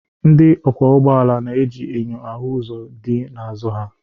Ndị ọkwọ ụgbọala na-eji enyo hụ ihe dị n'azụ ha